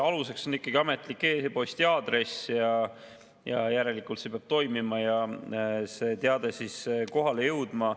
Aluseks on ikkagi ametlik e-posti aadress, järelikult see peab toimima ja teade kohale jõudma.